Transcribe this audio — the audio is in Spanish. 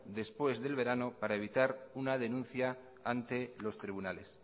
después del verano para evitar una denuncia ante los tribunales